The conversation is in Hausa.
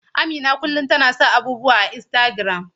Amina kullum tana sa abubuwa a Instagram.